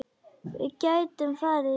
Við gætum farið í bíó.